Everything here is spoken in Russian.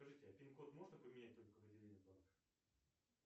скажите а пин код можно поменять только в отделении банка